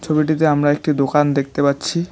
আমরা একটি দোকান দেখতে পাচ্ছি।